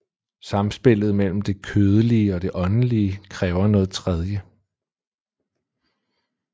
Samspillet mellem det kødelige og det åndelige kræver noget tredje